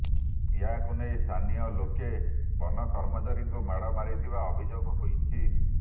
ଏହାକୁ ନେଇ ସ୍ଥାନୀୟ ଲୋକେ ବନ କର୍ମଚାରୀଙ୍କୁ ମାଡ଼ ମାରିଥିବା ଅଭିଯୋଗ ହୋଇଛି